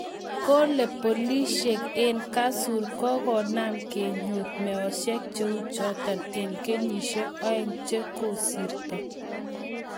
Kole polisiek en Kasur Kogonam kenyor meosiek cheu choton en kenyisiek oeng che kosirto